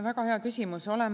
Väga hea küsimus!